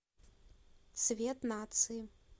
цвет нации